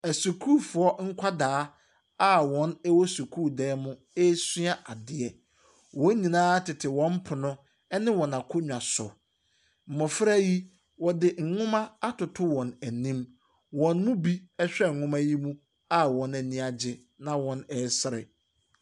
Asukuufoɔ nkwadaa a wɔwɔ sukuudan mu resua adeɛ. Wɔn nyinaa tete wɔn pono ne wɔn akonnwa so. Mmɔfra yi, wɔde nwoma atoto wɔn anim. Wɔn mu bi rehwɛ nwoma yi mu a wɔn ani agye na wɔresere.